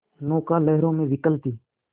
नौका लहरों में विकल थी